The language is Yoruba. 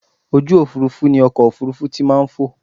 Ojú òfurufú ni ọkọ̀ òfurufú ti maa n fò